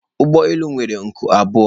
ụgbọ elu nwere nku abụọ